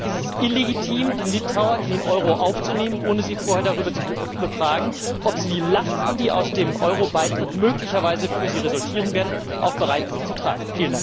Es ist illegitim, die Litauer in den Euro aufzunehmen, ohne sie vorher darüber zu befragen, ob sie die Lasten, die aus dem Euro Beitritt möglicherweise für sie resultieren werden, auch bereit sind zu tragen.